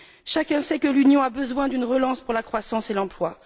Chacun sait que l'Union a besoin d'une relance pour la croissance et l'emploi.